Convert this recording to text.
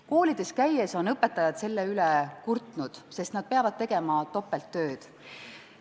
Koolides käies oleme kuulnud, et õpetajad on selle üle kurtnud, sest nad peavad tegema topelttööd.